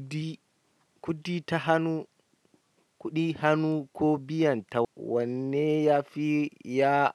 Kuɗi, kuɗi ta hannu, kuɗi hannu ko biyan ta. Wanne yafi ya,